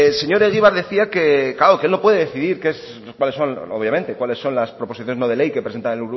señor egibar decía que él no puede decidir cuáles son las proposiciones no de ley que presenta